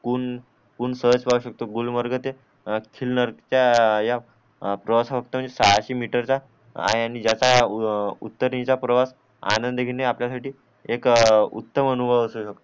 कून कून सहज पाहू शकतो गुलमर्ग ते खिन्नर्ग च्या या प्रवासात सहाशे मीटर चा आहे आणि जसा उत्तराणीचा प्रवास आनंदीने आपल्यासाठी एक उत्तम अनुभव असू शकतो